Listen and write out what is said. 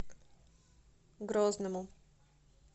грозному